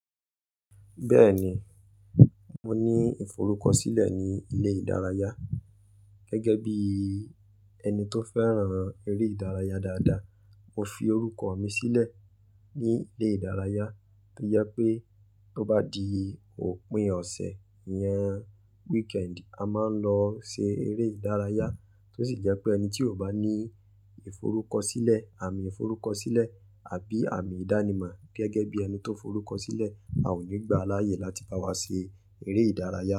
Bẹ́ẹ̀ni, mo ní ìforúkọ sílẹ̀ ní ilé ìdárayá. Gẹ́gẹ́ bí ẹni tó fẹ́ràn eré ìdárayá. Dáadáa, mo fi orúkọ mi sílẹ̀ ní ilé ìdárayá tó jẹ́ pé tó bá di òpin ọ̀sẹ̀, ìyen weekend, a máa ń lọ ṣe eré ìdárayá tó sì jẹ́ pé ẹni tí ò bá ní ìforúkọ sílẹ̀, àmì ìforúkọ sílẹ̀ àbí àmì ìdánimọ̀ gẹ́gẹ́ bí ẹni tó forúkọ sílẹ̀, a ò ní gbà á láyè láti bá wa ṣe eré ìdárayá.